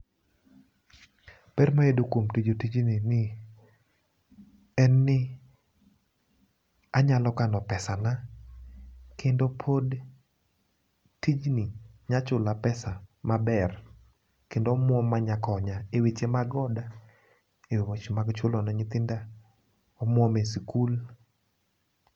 Ber mayudo kuom tiyo tijni ni en ni anyalo kano pesa na kendo pod tijni nya chula pesa maber kendo omwom manya konya e weche mag oda , e weche mag chulo ne nyithinda e sikul.